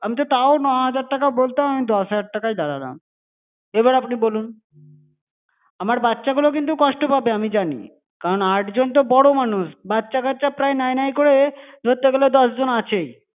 আমি তো তাও ন'হাজার টাকা বলতাম আমি দশ হাজার টাকায় দাঁড়ালাম। এবার আপনি বলুন। আমার বাচ্চাগুলো কিন্তু কষ্ট পাবে, আমি জানি। কারণ আটজন তো বড়ো মানুষ, বাচ্চা-কাচ্চা প্রায় নায়-নায় করে ধরতে গেলে দশ জন আছেই।